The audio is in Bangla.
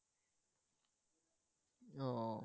ও